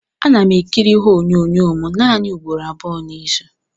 Ana m ekiri ihe onyonyo m naanị ugboro abụọ n'izu.